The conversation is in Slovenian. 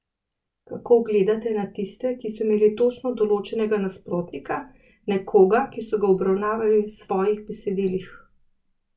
Kako gledate na tiste, ki so imeli točno določenega nasprotnika, nekoga, ki so ga obravnavali v svojih besedilih?